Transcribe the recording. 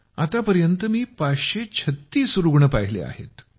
आतापर्यंत मी 536 रुग्ण पाहिले आहेत